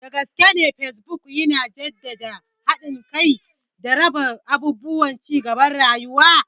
Dagaskene Facebook yana jaddada haɗin kai da raba abubuwan cigaban rayuwa.